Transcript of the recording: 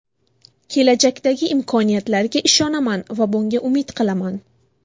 Kelajakdagi imkoniyatlarga ishonaman va bunga umid qilaman.